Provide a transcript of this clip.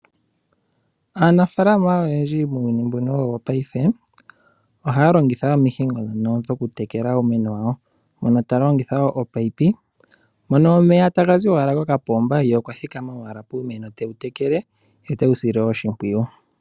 Aanafaalama oyendji muuyuni mbuno woo wopaife ohaya longitha omihingo ndhono dhokutekela uumeno yawo, mono ta longitha omunino mono omeya taga zi owala kokapomba ye okwa thikama owala puumeno tewu tekele ye otewu sile oshimpwiyu.